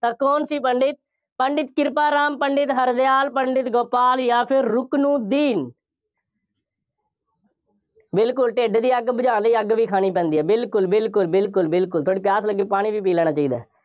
ਤਾਂ ਕੌਣ ਸੀ ਪੰਡਿਤ, ਪੰਡਿਤ ਕਿਰਪਾ ਰਾਮ, ਪੰਡਿਤ ਹਰਦਿਆਲ, ਪੰਡਿਤ ਗੋਪਾਲ ਜਾਂ ਫਿਰ ਰੁਕਨੂਦੀਨ ਬਿਲਕੁੱਲ ਢਿੱਡ ਦੀ ਅੱਗ ਬੁਝਾਉਣ ਲਈ ਅੱਗ ਵੀ ਖਾਣੀ ਪੈਂਦੀ ਹੈ। ਬਿਲਕੁੱਲ, ਬਿਲਕੁੱਲ, ਬਿਲਕੁੱਲ, ਬਿਲਕੁੱਲ ਥੋੜ੍ਹੀ ਪਿਆਸ ਲੱਗੇ ਪਾਣੀ ਵੀ ਪੀ ਲੈਣਾ ਚਾਹੀਦਾ ਹੈ।